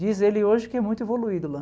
Diz ele hoje que é muito evoluído lá.